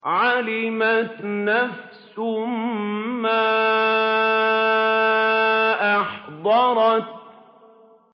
عَلِمَتْ نَفْسٌ مَّا أَحْضَرَتْ